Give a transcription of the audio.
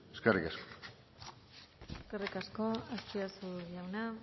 eskerrik asko eskerrik asko azpiazu jauna